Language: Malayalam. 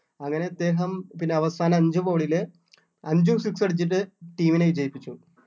അങ്ങനെ അദ്ദേഹം പിന്നെ അവസാന അഞ്ച് ball ല് അഞ്ചും six അടിച്ചിട്ട് team നെ ജയിപ്പിച്ചു